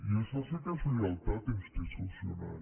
i això sí que és lleialtat institucional